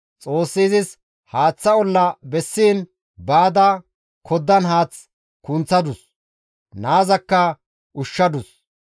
Xoossi izis haaththa olla bessiin baada koddan haath kunththadus; naazakka ushshadus.